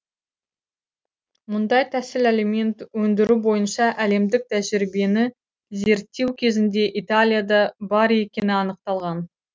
мұндай тәсіл алимент өндіру бойынша әлемдік тәжірибені зерттеу кезінде италияда бар екені анықталған